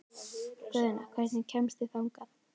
Guðna, hvernig kemst ég þangað?